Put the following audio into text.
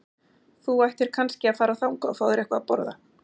Þú ættir kannski að fara þangað og fá þér eitthvað að borða.